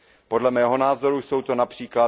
Podle mého názoru jsou to např.